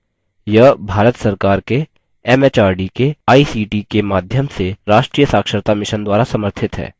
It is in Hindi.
यह भारत सरकार के एमएचआरडी के आईसीटी के माध्यम से राष्ट्रीय साक्षरता mission द्वारा समर्थित है